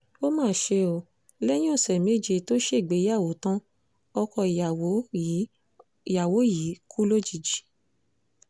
ó mà ṣe o lẹ́yìn ọ̀sẹ̀ méje tó ṣègbéyàwó tan ọkọ ìyàwó yìí ìyàwó yìí kù lójijì